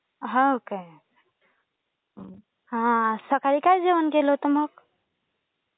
हो काय? हा सकाळी काय जेवण केलं होतं मग?